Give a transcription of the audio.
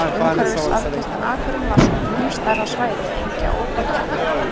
Umhverfis afgirtan akurinn var svo mun stærra svæði engja og úthaga.